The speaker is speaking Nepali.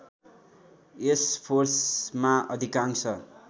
यस फोर्समा अधिकांश